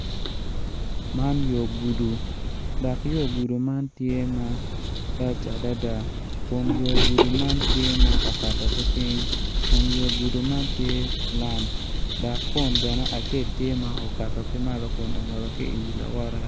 Man yo gudo dok yo gudo man tye ma lac adada kun yo gudo man tye ma okato ki piny kun yo gudo man tye lam dok kun bene acel tye okato ki malo kun ongolo ki wi lawote.